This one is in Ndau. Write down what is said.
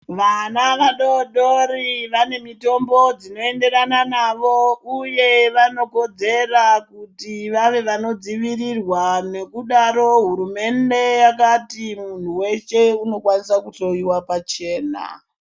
Vana vadodori vanemitombo dzinoenderana navo uye vanokodzera kuti vave vanodzivirirwa nekudaro hurumende yakati muntu weshe unokwnisa kuhloyiwa pachena.